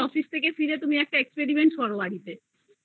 হয় গেলে বাড়ি ফিরে তুমি একটা experiment করো বাড়িতে